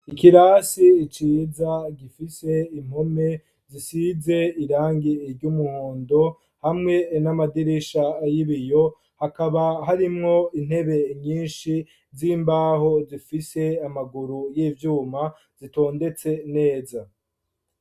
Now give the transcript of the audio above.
Ikirasi, ciza gifise impome, zisize irangi iry'umuhondo ,hamwe n'amadirisha y'ibiyo, hakaba harimwo intebe nyinshi, z'imbaho, zifise amaguru y'ivyuma zitondetse neza.